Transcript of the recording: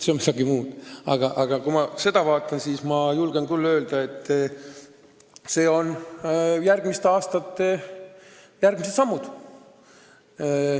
Aga mis puutub meie plaanidesse, siis ma julgen küll öelda, et need on järgmiste aastate järgmised sammud.